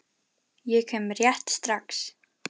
Ég kem rétt strax.